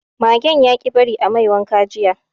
Magen yaƙi bari a mai wanka jiya